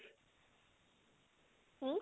হু?